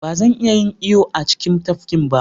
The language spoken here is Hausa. Ba zan iya yin iyo a cikin tafkin ba.